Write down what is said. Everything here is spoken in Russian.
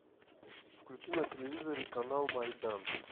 включи на телевизоре канал майдан